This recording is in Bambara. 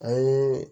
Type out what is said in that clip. A ye